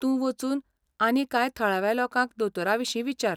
तूं वचून आनी कांय थळाव्या लोकांक दोतोरांविशीं विचार.